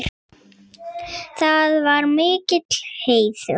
Það var mikill heiður.